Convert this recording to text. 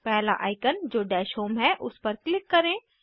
पहला आइकन जो dash home है उस पर क्लिक करें